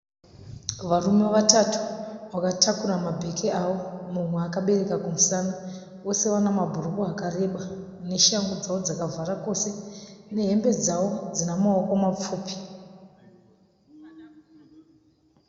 Varume vatatu vakatakura mabheke avo. Mumwe akabereka kumusana. Vose vana mabhurukwa akareba neshangu dzavo dzakavhara kose, nehembe dzavo dzina mawoko mapfupi.